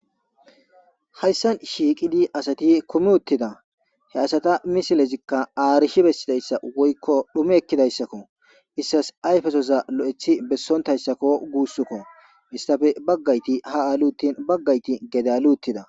Hayssan shiiqidi asati komi uttida he asata misilezikka aarishi bessidayssa woykko dhume ekkidayssakko. issas ayfesoza lo'eththi bessontayssakko guussukko. istafe baggayti ha ali uttin baggayti gede ali uttida.